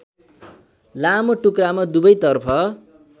लामो टुक्रामा दुवैतर्फ